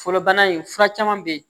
Folobana in fura caman bɛ ye